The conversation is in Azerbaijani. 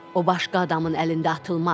O başqa adamın əlində atılmaz.